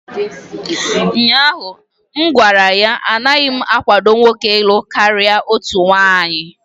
ụnyahụ m gwara ya, anaghị m akwado nwoke ịlụ karịa otu nwanyị!